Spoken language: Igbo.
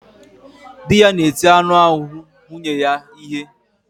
Dị ya na-eti anụ ahụ nwunye ya ihe